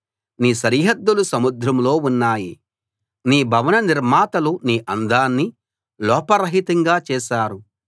నీ సరిహద్దులు సముద్రంలో ఉన్నాయి నీ భవన నిర్మాతలు నీ అందాన్ని లోపరహితంగా చేశారు